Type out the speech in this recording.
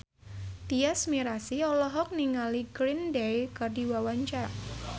Tyas Mirasih olohok ningali Green Day keur diwawancara